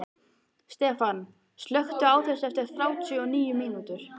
Stefan, slökktu á þessu eftir þrjátíu og níu mínútur.